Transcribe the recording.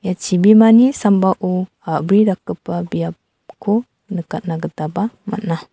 ia chibimani sambao a·bri dakgipa biapko nikatna gitaba man·a.